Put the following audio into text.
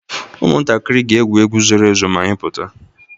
Ụmụntakịrị ga-egwu egwu zoro ezo ma anyị pụta